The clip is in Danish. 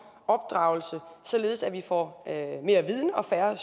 opdragelse således at vi får mere viden og færre